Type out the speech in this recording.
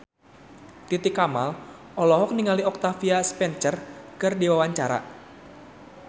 Titi Kamal olohok ningali Octavia Spencer keur diwawancara